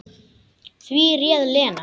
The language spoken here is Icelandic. Því réð Lena.